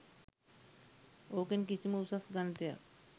ඕකෙන් කිසිම උසස් ගණිතයක්